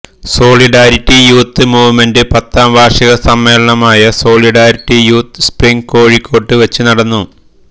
solidarity youth movement പത്താം വാർഷിക സമ്മേളനമായ സോളിഡാരിറ്റി യൂത്ത് സ്പ്രിങ് കോഴിക്കോട്ട് വെച്ച് നടന്നു